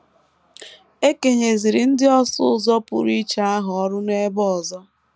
E kenyeziri ndị ọsụ ụzọ pụrụ iche ahụ ọrụ n’ógbè ọzọ.